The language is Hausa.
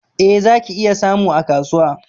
Eh, zaki iya samu a kasuwa